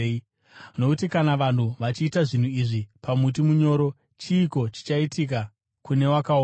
Nokuti kana vanhu vachiita zvinhu izvi pamuti munyoro, chiiko chichaitika kune wakaoma?”